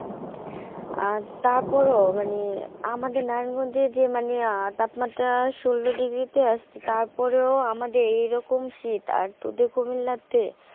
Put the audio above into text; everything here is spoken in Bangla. আর তারপর ও মানে, আমাদের নারায়ণ গঞ্জে যে মানে তাপমাত্রা ষোল ডিগ্রী তে আছে তারপর ও আমাদের এই রকম শীত আর তোদের কি লাগছে।